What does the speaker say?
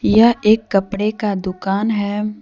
यह एक कपड़े का दुकान है।